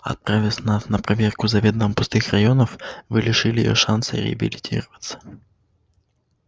отправив нас на проверку заведомо пустых районов вы лишили её шанса реабилитироваться